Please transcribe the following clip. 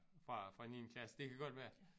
Fra fra niende klasse det kan godt være